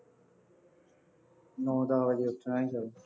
ਨੌ ਦੱਸ ਵਜੇ ਉੱਠਣਾ ਸੀ ਹਾਲੇ